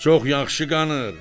Çox yaxşı qanır.